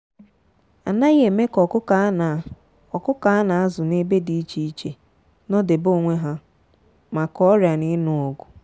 a naghi eme ka ọkụkọ a na ọkụkọ a na azụ n'ebe dị iche iche nọdebe onwe ha maka oria na inu ọgụ.